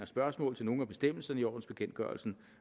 spørgsmål til nogle af bestemmelserne i ordensbekendtgørelsen